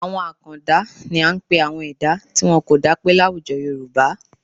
Àwọn àkàndá ni à ń pe àwọn ẹ̀dá tí wọn kò dápé láwùjọ Yorùbá